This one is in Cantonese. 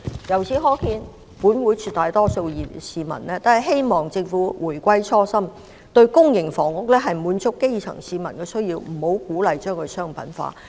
由此可見，本會絕大多數議員和市民均希望政府回歸初心，將公營房屋用於滿足基層市民需要，而不要鼓勵把它商品化。